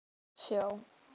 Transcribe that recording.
Eyjardalsá